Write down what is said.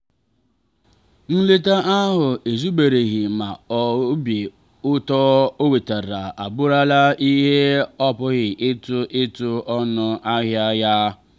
nleta ahụ ezubereghị ma obi ụtọ o wetara abụrụla ihe a pụghị ịtụ ịtụ ọnụ ahịa ya.